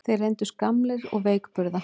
Þeir reyndust gamlir og veikburða